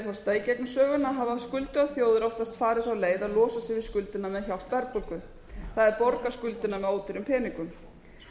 forseta í gegnum söguna hafa skuldugar þjóðir oftast farið þá leið að losa sig við skuldina með hjálp verðbólgu það er borga skuldina með ódýrum peningum